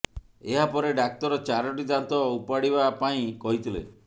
ଏହା ପରେ ଡାକ୍ତର ଚାରୋଟି ଦାନ୍ତ ଉପାଡିବା ପାଇଁ କହିଥିଲେ